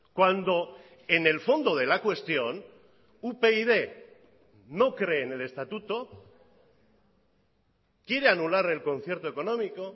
cuando en el fondo de la cuestión upyd no cree en el estatuto quiere anular el concierto económico